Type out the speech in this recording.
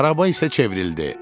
Araba isə çevrildi.